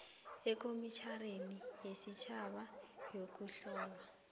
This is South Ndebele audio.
ekomitjhaneni yesitjhaba yokuhlolwa